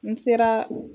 N sera